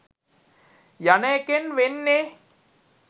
යන එකෙන් වෙන්නේ